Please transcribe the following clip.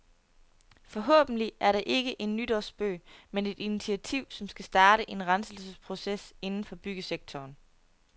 Forhåbentlig er det ikke en nytårsspøg, men et initiativ, som skal starte en renselsesproces inden for byggesektoren.